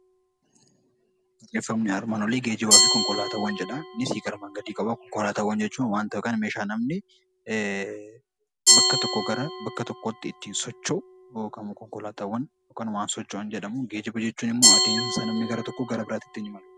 Konkolaataawwan jechuun wanta yookaan meeshaa namni bakka tokkoo gara biraatti ittiin socho'u yommuu jedhamu, geejjiba jechuun immoo adeemsa namni gara tokkoo gara biraatti ittiin imaludha.